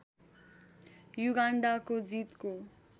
युगान्डाको जीतको